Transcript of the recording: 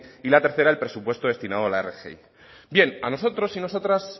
y la tercera el presupuesto destinado a la rgi bien a nosotros y nosotras